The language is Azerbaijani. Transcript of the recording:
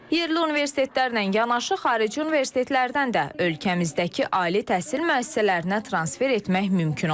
Yerli universitetlərlə yanaşı xarici universitetlərdən də ölkəmizdəki ali təhsil müəssisələrinə transfer etmək mümkün olacaq.